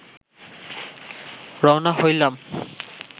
রওনা হইলাম